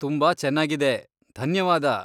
ತುಂಬಾ ಚೆನ್ನಾಗಿದೆ, ಧನ್ಯವಾದ.